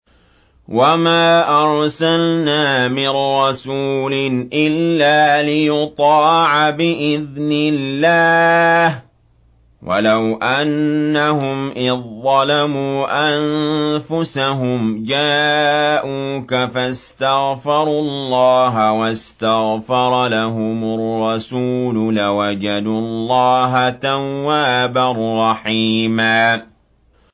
وَمَا أَرْسَلْنَا مِن رَّسُولٍ إِلَّا لِيُطَاعَ بِإِذْنِ اللَّهِ ۚ وَلَوْ أَنَّهُمْ إِذ ظَّلَمُوا أَنفُسَهُمْ جَاءُوكَ فَاسْتَغْفَرُوا اللَّهَ وَاسْتَغْفَرَ لَهُمُ الرَّسُولُ لَوَجَدُوا اللَّهَ تَوَّابًا رَّحِيمًا